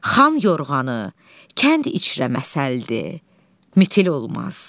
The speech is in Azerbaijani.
Xan yorğanı kənd içrə məsəldir, mitil olmaz.